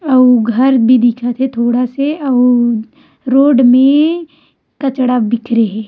और घर भी दिखत थे थोड़ से अउ रोड मे कचरा बिखरे हे।